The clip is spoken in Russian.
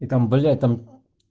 и там блять там